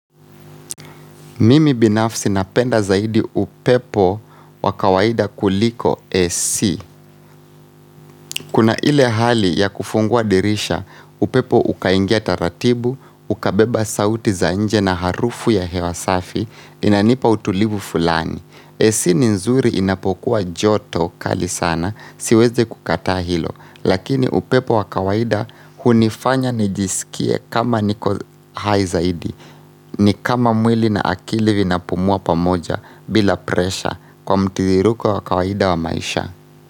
Mimi binafsi napenda zaidi upepo wa kawaida kuliko AC. Kuna ile hali ya kufungua dirisha, upepo ukaingia taratibu, ukabeba sauti za nje na harufu ya hewa safi, inanipa utulivu fulani. AC ni nzuri inapokuwa joto kali sana siweze kukataa hilo lakini upepo wa kawaida hunifanya nijisikie kama niko hai zaidi ni kama mwili na akili vinapumua pamoja bila presha kwa mtiririko wa kawaida wa maisha.